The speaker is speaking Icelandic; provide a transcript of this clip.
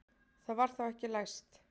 Það var þá ekki læst!